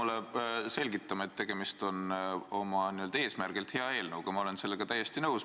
Te ei pea mulle selgitama, et tegemist on oma eesmärgilt hea eelnõuga, ma olen sellega täiesti nõus.